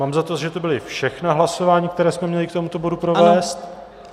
Mám za to, že to byla všechna hlasování, která jsme měli k tomuto bodu provést.